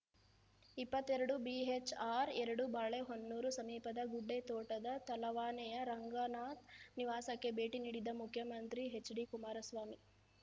ಇಪ್ಪತ್ತೆರಡು ಬಿಹೆಚ್‌ಆರ್‌ ಎರಡು ಬಾಳೆಹೊನ್ನೂರು ಸಮೀಪದ ಗುಡ್ಡೇತೋಟದ ತಲವಾನೆಯ ರಂಗನಾಥ್‌ ನಿವಾಸಕ್ಕೆ ಭೇಟಿ ನೀಡಿದ್ದ ಮುಖ್ಯಮಂತ್ರಿ ಎಚ್‌ಡಿಕುಮಾರಸ್ವಾಮಿ